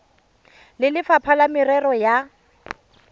le lefapha la merero ya